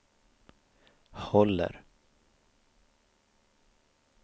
håller